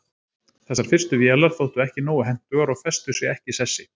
þessar fyrstu vélar þóttu ekki nógu hentugar og festu sig ekki í sessi